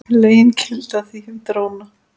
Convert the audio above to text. Lögin gilda því um dróna.